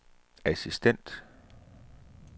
assistent